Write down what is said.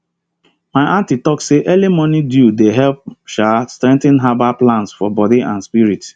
my aunty talk say early morning dew dey help strengthen herbal plants for body and spirit